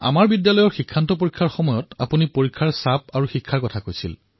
আমাৰ বিদ্যালয়ৰ বৰ্ডৰ পৰীক্ষাৰ সময়ত আপুনি পৰীক্ষাৰ দুঃচিন্তা আৰু শিক্ষাৰ কথা কৈছিল